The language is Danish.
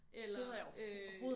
Eller øh